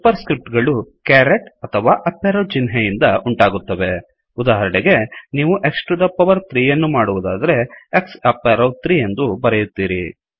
super script ಗಳು caret ಅಥವಾ up arrow ಚಿಹ್ನೆಯಿಂದ ಉಂಟಾಗುತ್ತವೆಉದಾಹರಣೆಗೆನೀವು X to the power to the power three ಯನ್ನು ಮಾಡುವದಾದರೆ X ಅಪ್ ಎರೋ 3 ಎಂದು ಬರೆಯುತ್ತೀರಿ